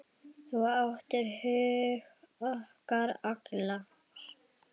Þú áttir hug okkar allra.